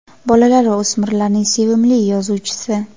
bolalar va o‘smirlarning sevimli yozuvchisi.